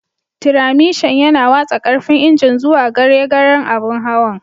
Tiramishan yana watsa karfin injin zuwa gare garen abun hawan.